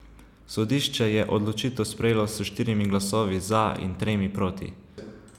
Sodišče je odločitev sprejelo s štirimi glasovi za in tremi proti.